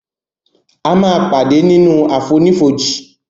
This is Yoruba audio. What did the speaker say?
a má pàdé nínú àfonífojì